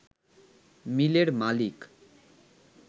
মিলের মালিক